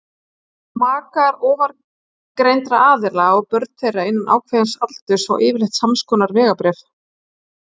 Makar ofangreindra aðila og börn þeirra innan ákveðins aldurs fá yfirleitt samskonar vegabréf.